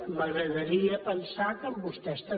m’agradaria pensar que amb vostès també